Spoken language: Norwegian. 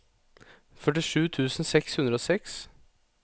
førtisju tusen seks hundre og seks